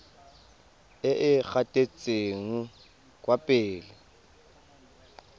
e e gatetseng kwa pele